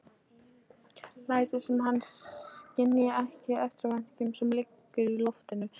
Lætur sem hann skynji ekki eftirvæntinguna sem liggur í loftinu.